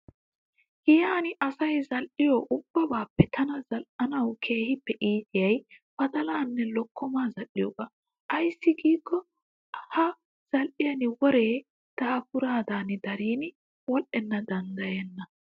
Giyan asayi zal''iyoo ubbabaappe tana zal''anawu keehippe iitiyaayi badalaanne lokkomaa zal''iyoogaa. Aayissi giikko ha zal'iyan woree daapuraadan daridi wodhdhana danddayenna.